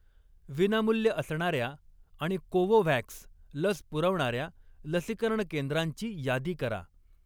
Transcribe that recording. विनामूल्य असणाऱ्या आणि कोवोव्हॅक्स लस पुरवणाऱ्या लसीकरण केंद्रांची यादी करा.